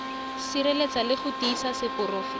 sireletsa le go tiisa seporofe